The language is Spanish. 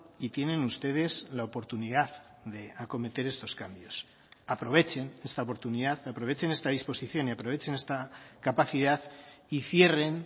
y tienen ustedes la oportunidad de acometer estos cambios aprovechen esta oportunidad aprovechen esta disposición y aprovechen esta capacidad y cierren